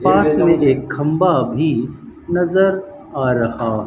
पास मे एक खम्बा भी नजर आ रहा--